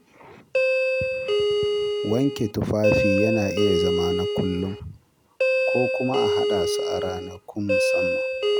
Wanke tufafi yana iya zama na kullum ko kuma a haɗa su a ranakun musamman.